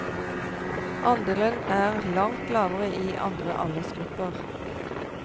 Andelen er langt lavere i andre aldersgrupper.